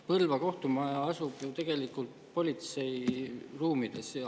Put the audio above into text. Põlva kohtumaja asub ju tegelikult politsei ruumides.